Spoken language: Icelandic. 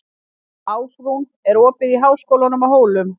Ásrún, er opið í Háskólanum á Hólum?